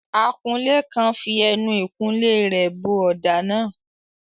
Akunlé kan fi ẹnu ìkunlé rẹ̀ bọ ọ̀dà náà.